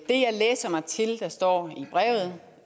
jeg læser mig til står i brevet